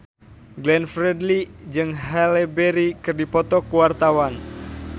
Glenn Fredly jeung Halle Berry keur dipoto ku wartawan